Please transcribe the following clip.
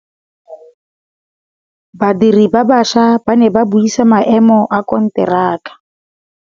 Badiri ba baša ba ne ba buisa maêmô a konteraka.